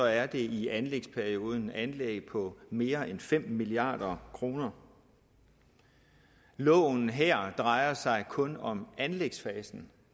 er det i anlægsperioden anlæg på mere end fem milliard kroner loven her drejer sig kun om anlægsfasen